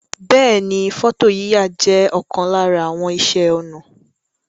Beeni, foto yiya je okan lara àwon ise onà